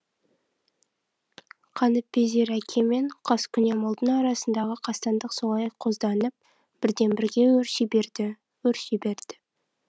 қаныпезер әке мен қаскүнем ұлдың арасындағы қастандық солай қозданып бірден бірге өрши берді өрши берді